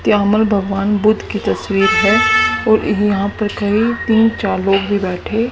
त्यामल भगवान बुद्ध की तस्वीर है और यहां पे कई तीन चार लोग भी बैठे--